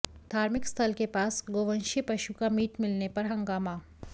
धार्मिक स्थल के पास गोवंशीय पशु का मीट मिलने पर हंगामा